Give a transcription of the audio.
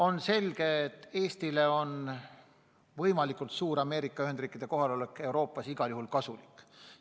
On selge, et Eestile on võimalikult suur Ameerika Ühendriikide kohalolek Euroopas igal juhul kasulik.